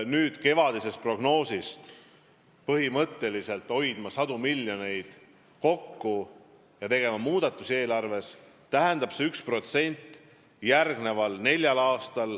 Tulenevalt kevadisest prognoosist peame põhimõtteliselt sadu miljoneid kokku hoidma ja eelarves muudatusi tegema.